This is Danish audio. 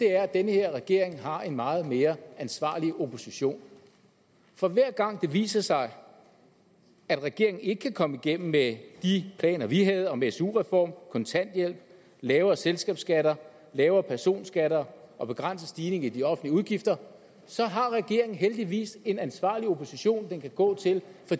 er at den her regering har en meget mere ansvarlig opposition for hver gang det viser sig at regeringen ikke kan komme igennem med de planer vi havde om en su reform kontanthjælp lavere selskabsskatter lavere personskatter og en begrænset stigning i de offentlige udgifter så har regeringen heldigvis en ansvarlig opposition den kan gå til